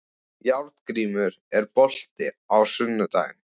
Járngrímur, er bolti á sunnudaginn?